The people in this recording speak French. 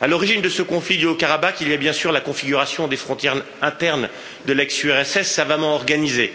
À l'origine de ce conflit du Haut Karabakh, il y a bien sûr la configuration des frontières internes de l'ex URSS, savamment organisée